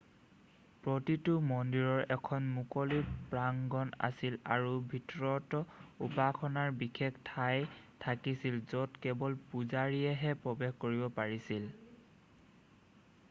প্ৰতিটো মন্দিৰৰ এখন মুকলি প্ৰাংগন আছিল আৰু ভিতৰত উপাসনাৰ বিশেষ ঠাই থাকিছিল য'ত কেৱল পূজাৰীয়েহে প্ৰৱেশ কৰিব পাৰিছিল